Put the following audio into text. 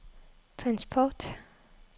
transport